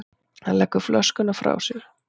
Hann leggur flöskuna frá sér.